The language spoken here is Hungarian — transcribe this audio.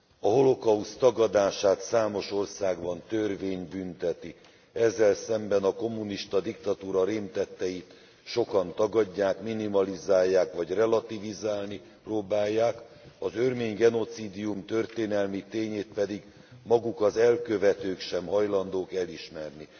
A holokauszt tagadását számos országban törvény bünteti. Ezzel szemben a kommunista diktatúra rémtetteit sokan tagadják, minimalizálják vagy relativizálni próbálják, az örmény genocídium történelmi tényét pedig maguk az elkövetők sem hajlandók elismerni.